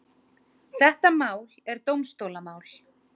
Þetta mál er dómstólamál.